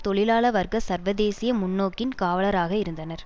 தொழிலாள வர்க்க சர்வதேசிய முன்னோக்கின் காவலராக இருந்தனர்